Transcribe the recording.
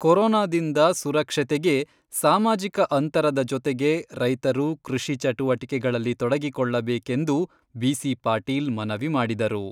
ಕೊರೋನಾದಿಂದ ಸುರಕ್ಷತೆಗೆ ಸಾಮಾಜಿಕ ಅಂತರದ ಜೊತೆಗೆ ರೈತರು ಕೃಷಿ ಚಟುವಟಿಕೆಗಳಲ್ಲಿ ತೊಡಗಿಕೊಳ್ಳಬೇಕೆಂದು ಬಿ.ಸಿ.ಪಾಟೀಲ್ ಮನವಿ ಮಾಡಿದರು.